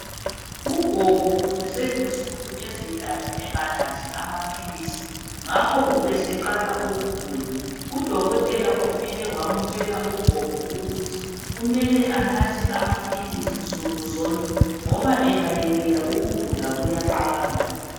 Ugogo ubeselensuku ezintathu enganathi amaphilisi ngakho ubeseqala ukugula. Udokotela ufike wamutshela ugogo ukuthi kumele anathe amaphilisi nsukuzonke ngoba engayekela ukugula kuyaqala.